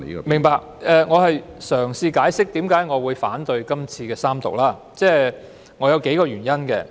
明白，我是在嘗試解釋為何要反對三讀，並有數個原因。